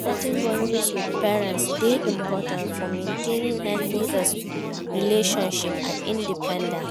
Setting boundaries with parents dey important for maintaining healthy relationships and independence.